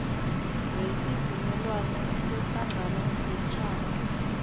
wesivumelwano sehlangano yeentjhaba